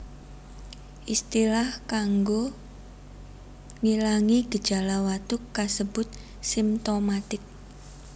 Istilah kanggo ngilangi gejala watuk kasebut simtomatik